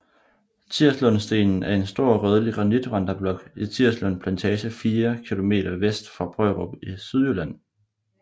Tirslundstenen er en stor rødlig granitvandreblok i Tirslund Plantage 4 km vest for Brørup i Sydjylland